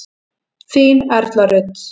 Þín Erla Rut.